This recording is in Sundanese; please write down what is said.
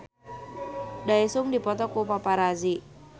Daesung dipoto ku paparazi